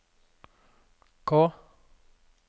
K